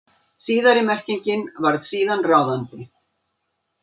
Síðari merkingin varð síðan ráðandi.